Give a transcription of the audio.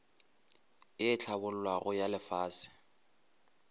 ye e hlabollwago ya lefase